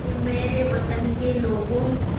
ऐ मेरे वतन के लोगों